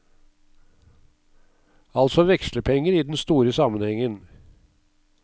Altså vekslepenger i den store sammenhengen.